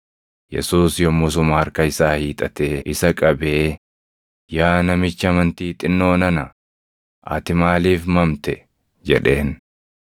Yesuus yommusuma harka isaa hiixatee isa qabee, “Yaa namicha amantii xinnoo nana, ati maaliif mamte?” jedheen.